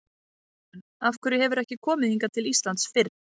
Karen: Af hverju hefurðu ekki komið hingað til Íslands fyrr?